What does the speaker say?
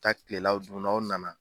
taa kilelaw dun n'aw nana.